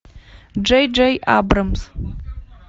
джей джей абрамс